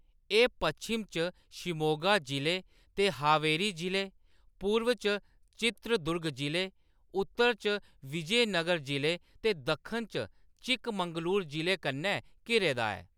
एह्‌‌ पश्चिम च शिमोगा जिले ते हावेरी जिले, पूर्व च चित्रदुर्ग जिले, उत्तर च विजयनगर जिले ते दक्खन च चिकमंगलूर जिले कन्नै घिरे दा ऐ।